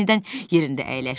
sonra yenidən yerində əyləşdi.